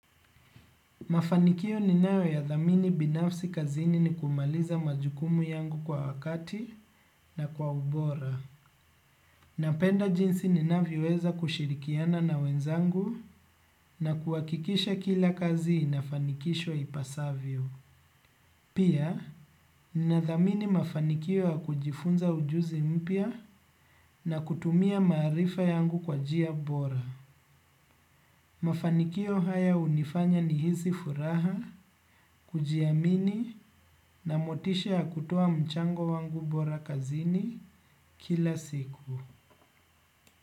Mafanikio ninayoyathamini binafsi kazini ni kumaliza majukumu yangu kwa wakati na kwa ubora. Napenda jinsi ninavyoweza kushirikiana na wenzangu na kuhakikisha kila kazi inafanikishwa ipasavyo. Pia, ninathamini mafanikio ya kujifunza ujuzi mpya na kutumia maarifa yangu kwa njia bora. Mafanikio haya hunifanya nihisi furaha kujiamini na motisha ya kutoa mchango wangu bora kazini kila siku.